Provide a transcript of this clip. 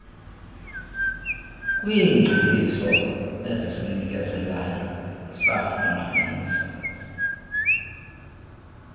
kwiingcebiso esizinikezelayo safumanisa